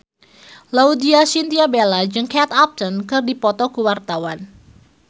Laudya Chintya Bella jeung Kate Upton keur dipoto ku wartawan